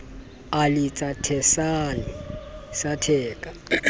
e le tshesane sa theka